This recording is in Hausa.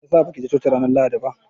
Meyasa ba kije coci ranar Lahadi ba?